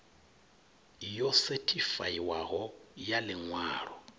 yo sethifaiwaho ya ḽi ṅwalo